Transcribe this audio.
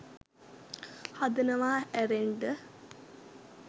හදනවා ඇරෙන්ඩ